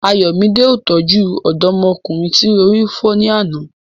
Ayomide ó tọ́jú ọ̀dọ́mọkùnrin tí orí fọ́ ní àná.